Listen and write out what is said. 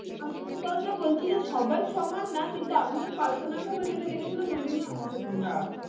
আমি এই কথাটা বলছি যে সবাই সমান না কিন্তু আমি personal ভাবে যেটা দেখেছিলাম ওই জন্য